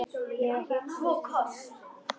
Ég hef ekki upplifað neitt sérstakt umfram aðra.